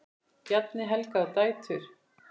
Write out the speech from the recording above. Bjarni, Helga og dætur.